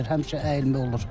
Həmişə əyilmə olur.